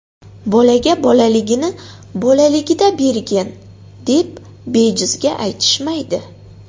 Bolaga bolaligini bolaligida bergin, deb bejizga aytishmaydi.